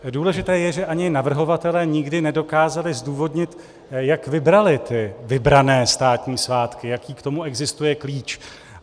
Důležité je, že ani navrhovatelé nikdy nedokázali zdůvodnit, jak vybrali ty vybrané státní svátky, jaký k tomu existuje klíč.